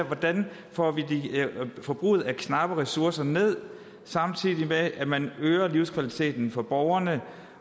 hvordan får vi forbruget af knappe ressourcer ned samtidig med at man øger livskvaliteten for borgerne